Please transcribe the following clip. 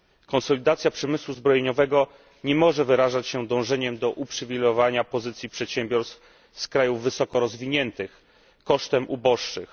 Konsolidacja przemysłu zbrojeniowego nie może wyrażać się dążeniem do uprzywilejowania pozycji przedsiębiorstw z krajów wysokorozwiniętych kosztem uboższych.